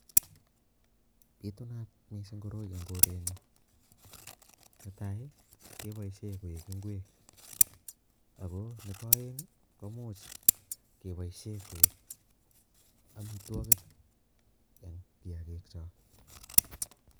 Bitunat koroi mising eng korenyun, ne tai, kepoishe koek ingwek ako nebo aeng, komuch kepoishe koek amitwokik eng kiyakik cho.